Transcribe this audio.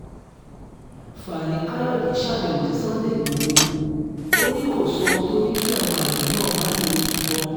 fani káyọ̀dé ṣàbẹ̀wò sí sunday igbodò ò ní kó sóhun tó ní kí àwọn àgbẹ̀ náà má lo ìbọn